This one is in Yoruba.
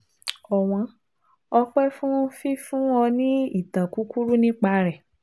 ọ̀wọ́n, ọ̀pẹ́ fún fífún ọ ní ìtàn kúkúrú nípa rẹ̀